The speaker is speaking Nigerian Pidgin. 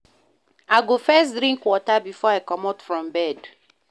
I go first drink water before I comot from bed.